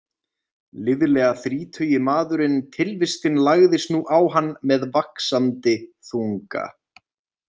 Liðlega þrítugi maðurinn Tilvistin lagðist nú á hann með vaxandi þunga.